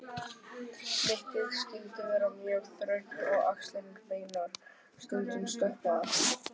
Mittið skyldi vera mjög þröngt og axlirnar beinar, stundum stoppaðar.